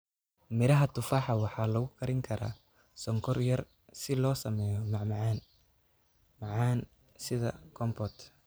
Miraha tufaaxa waxaa lagu karin karaa sonkor yar si loo sameeyo macmacaan macaan sida compote.